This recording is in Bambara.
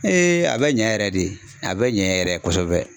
a bɛ ɲɛ yɛrɛ de, a bɛ ɲɛ yɛrɛ kosɛbɛ.